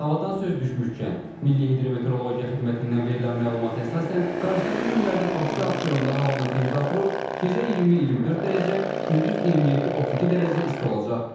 Havadan söz düşmüşkən, Milli Hidrometeorologiya Xidmətindən verilən məlumata əsasən, qarşıdakı günlərdə Bakı və Abşeronda havanın temperaturu gecə 20-24 dərəcə, gündüz 27-32 dərəcə isti olacaq.